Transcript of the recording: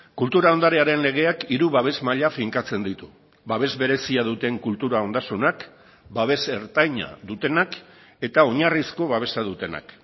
kultura ondarearen legeak hiru babes maila finkatzen ditu babes berezia duten kultura ondasunak babes ertaina dutenak eta oinarrizko babesa dutenak